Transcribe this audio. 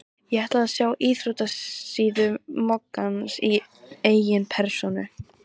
Ég ætla að sjá íþróttasíðu moggans í eigin persónu.